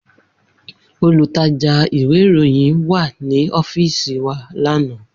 Olutaja iwe iroyin wa ni ọfiisi wa lana.